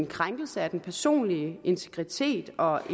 krænkelse af den personlige integritet og